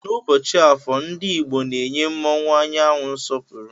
Na ụbọchi afọọ ndi igbo na enye mụọnwu anyanwu nsọpuru.